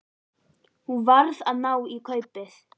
Hún varð að ná í kaupið.